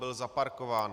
Byl zaparkován.